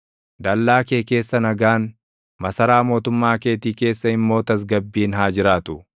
Dallaa kee keessa nagaan, masaraa mootummaa keetii keessa immoo tasgabbiin haa jiraatu.”